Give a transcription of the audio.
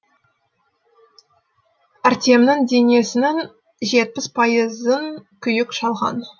артемнің денесінін жетпіс пайызын күйік шалған